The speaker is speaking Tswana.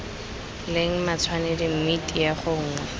leng matshwanedi mme tiego nngwe